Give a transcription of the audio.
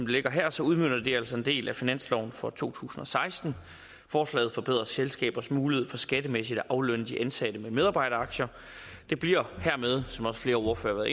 ligger her så udmønter det altså en del af finansloven for to tusind og seksten forslaget forbedrer selskabers mulighed for skattemæssigt at aflønne de ansatte med medarbejderaktier det bliver hermed som også flere ordførere